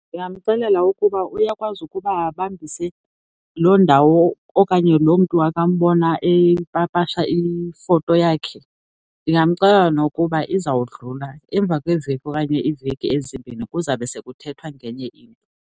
Ndingamxelela ukuba uyakwazi ukuba abambise loo ndawo okanye loo mntu akambona epapasha ifoto yakhe. Ningamxelela nokuba izawudlula, emva kweveki okanye iiveki ezimbini kuzawube sekuthethwa ngenye into.